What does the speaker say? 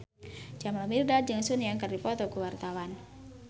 Jamal Mirdad jeung Sun Yang keur dipoto ku wartawan